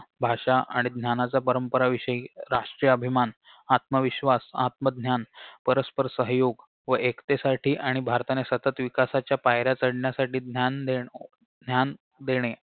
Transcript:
भाषा आणि ज्ञानाच्या परंपरा विषयी राष्टीय अभिमान आत्मविश्वास आत्मज्ञान परस्पर सहयोग व एकतेसाठी आणि भारताने सतत विकासाच्या पायऱ्या चढण्यासाठी ज्ञान देण ज्ञान देणे